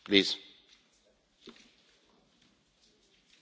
Prima di aprire,